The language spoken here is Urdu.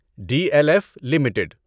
D L F limited